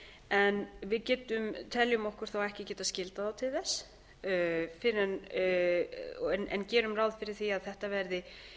en við teljum okkur þó ekki geta skyldað þá til þess en gerum ráð fyrir því að þetta verði